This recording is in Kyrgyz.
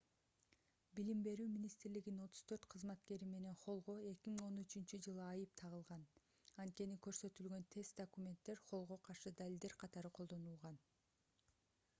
билим берүү министрлигинин 34 кызматкери менен холлго 2013-жылы айып тагылган анткени көрсөтүлгөн тест документтер холлго каршы далилдер катары колдонулган